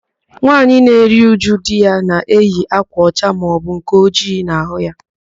Nwaanyị na-eru újú di ya na-eyi ákwà ọcha maọbụ nke ojii n'ahụ ya.